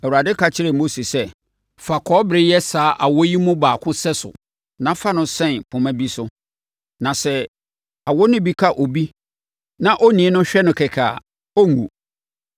Awurade ka kyerɛɛ Mose sɛ, “Fa kɔbere yɛ saa awɔ yi mu baako sɛso na fa no sɛn poma bi so, na sɛ awɔ no bi ka obi na onii no hwɛ no kɛkɛ a, ɔrenwu.”